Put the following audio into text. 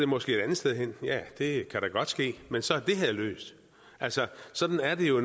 måske et andet sted hen ja det kan da godt ske men så er det her løst altså sådan er det jo